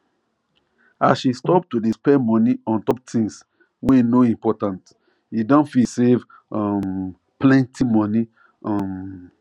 as she stop to dey spend money untop things wey no important e don fit save um plenty money um